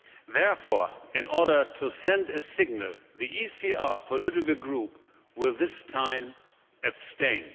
Therefore, in order to send a signal, the ECR political group will this time abstain.